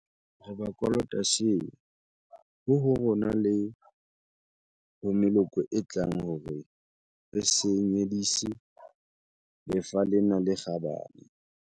Re ba kolota seo, ho ho rona le ho meloko e tlang hore re se nyedisi lefa lena le kgabane.